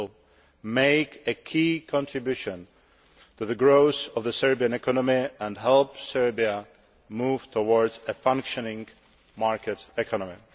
It will make a key contribution to the growth of the Serbian economy and help Serbia move towards a functioning market economy.